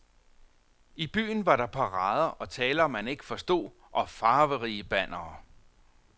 I byen var der parader og taler, man ikke forstod, og farverige bannere.